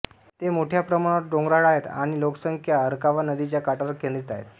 ते मोठ्या प्रमाणावर डोंगराळ आहे आणि लोकसंख्या अरकावा नदीच्या काठावर केंद्रित आहे